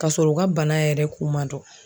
Ka sɔrɔ o ka bana yɛrɛ kun man dɔn